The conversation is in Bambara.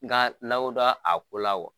Nka lawo dɔn a ko la wa ?